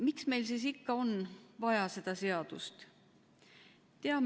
Miks meil siis ikka on vaja seda seadust?